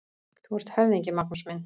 Þú ert höfðingi, Magnús minn!